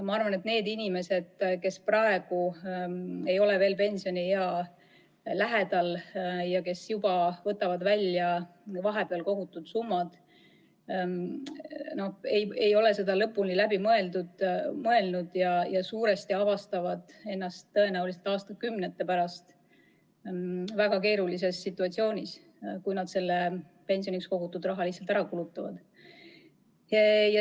Ma arvan, et need inimesed, kes praegu ei ole veel pensioniea lähedal ja kes juba võtavad välja vahepeal kogutud summa, ei ole seda sammu lõpuni läbi mõelnud ja tõenäoliselt leiavad end aastakümnete pärast väga keerulisest situatsioonist, kui nad pensioniks kogutud raha praegu lihtsalt ära kulutavad.